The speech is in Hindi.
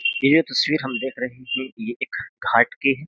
ये तस्वीर हम देख रहे हैं ये घाट के हैं।